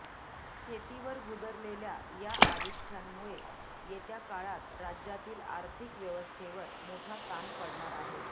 शेतीवर गुदरलेल्या या आरिष्ठ्यांमुळे येत्या काळात राज्यातील आर्थिक व्यवस्थेवर मोठा ताण पडणार आहे